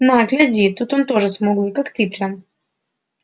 на гляди тут он тоже смуглый как ты прям